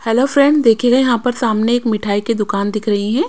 Hello friend देखिए यहां पर सामने एक मिठाई की दुकान दिख रही हैं।